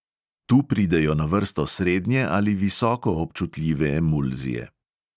Tu pridejo na vrsto srednje ali visoko občutljive emulzije.